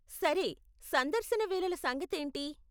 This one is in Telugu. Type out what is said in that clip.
సరే, సందర్శన వేళల సంగతేంటి?